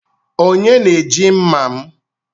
Onye na-eji mma m?